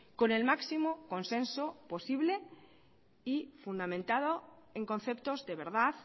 con el máximo consenso posible y fundamentado en conceptos de verdad